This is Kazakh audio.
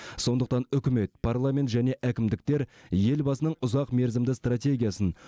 сондықтан үкімет парламент және әкімдіктер елбасының ұзақмерзімді стратегиясын